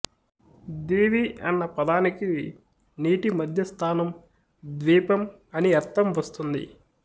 దీవి అన్న పదానికి నీటిమధ్య స్థానం ద్వీపం అని అర్థంవస్తూంది